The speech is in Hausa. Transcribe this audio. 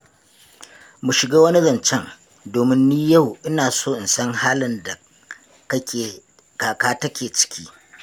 Mu shiga wani zancen, domin ni yau ina so in san halin da kaka take ciki.